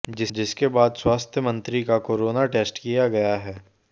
जिसके बाद स्वास्थ्य मंत्री का कोरोना टेस्ट किया गया है